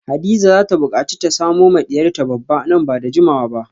Hadiza zata bukaci ta samo ma diyarta babba nan bada jimawa ba